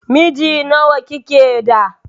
Miji nawa kike da?